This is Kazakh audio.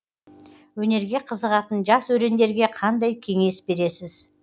өнерге қызығатын жас өрендерге қандай кеңес бересіз